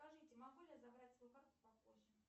скажите могу ли я забрать свою карту попозже